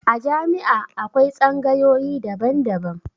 A jami'a akwai tsangayoyi daban-daban.